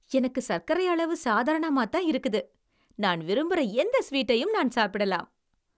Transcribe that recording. எனக்கு சக்கரை அளவு சாதாரணமாத்தான் இருக்குது. நான் விரும்புற எந்த ஸ்வீட்டையும் நான் சாப்பிடலாம்.